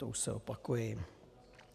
To už se opakuji.